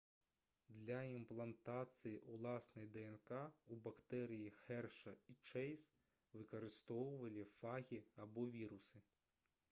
для імплантацыі ўласнай днк у бактэрыі хэршы і чэйз выкарыстоўвалі фагі або вірусы